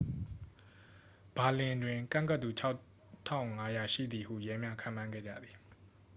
ဘာလင်တွင် ကန့်ကွက်သူ 6,500 ရှိသည်ဟု ရဲများ ခန့်မှန်းခဲ့ကြသည်